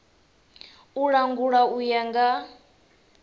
u langula u ya nga